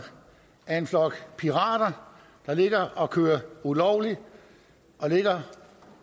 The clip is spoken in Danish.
er en flok pirater der ligger og kører ulovligt